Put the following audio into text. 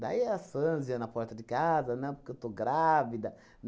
Daí a fãs ia na porta de casa, na época que eu estou grávida.